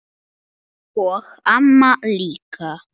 Og amma líka.